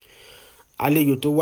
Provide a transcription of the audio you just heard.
àlejò tó wá